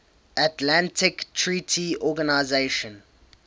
atlantic treaty organisation